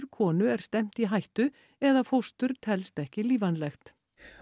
konu er stefnt í hættu eða fóstur telst ekki lífvænlegt